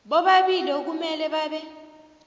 bobabili okumele babe